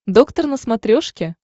доктор на смотрешке